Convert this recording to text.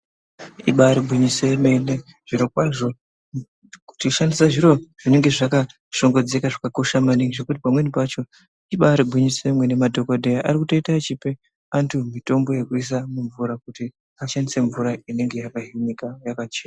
Ibari gwinyiso yemene zviro kwazvo kutoshandisa zviro zvinenge zvakashongedzeka maningi zvekuti pamweni pacho ibari gwinyiso yemene madhokodheya ari kutoite echipe antu mutombo yekuise mumvura kuti ashandise mvura inenge yakahinika yakachena.